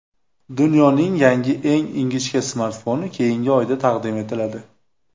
Dunyoning yangi eng ingichka smartfoni keyingi oyda taqdim etiladi.